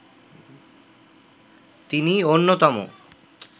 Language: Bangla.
তিনি অন্যতম